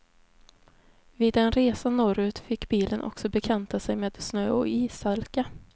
Vid en resa norrut fick bilen också bekanta sig med snö och ishalka.